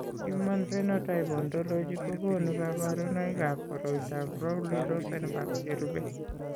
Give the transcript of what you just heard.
Human Phenotype Ontology kokonu kabarunoikab koriotoab Rowley Rosenberg cherube.